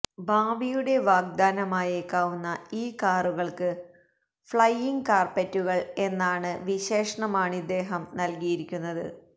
ഭാവിയുടെ വാഗ്ദാനമായേക്കാവുന്ന ഈ കാറുകൾക്ക് ഫ്ലയിംഗ് കാർപെറ്റുകൾ എന്നാണ് വിശേഷമാണിദ്ദേഹം നൽകിയിരിക്കുന്നത്